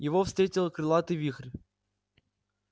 его встретил крылатый вихрь